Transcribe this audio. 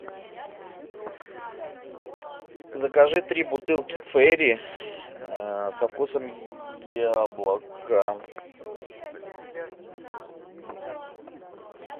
закажи три бутылки фейри со вкусом яблока